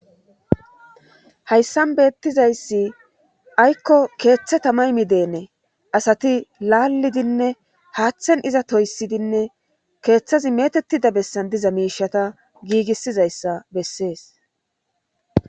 hayssan beettizayssi aykko keethe tamay mideene asati laallidinne haathen iza toyssidinne keethazi meetetida bessan diza miishshata giigissizayssa bessees.